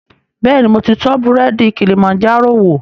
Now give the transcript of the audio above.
Bẹ́ẹ̀ni, mo ti tọ búrẹ́dì Kilimanjaro wò